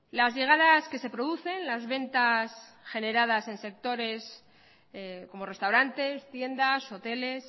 las llegadas que se producen las ventas generadas en sectores como restaurantes tiendas hoteles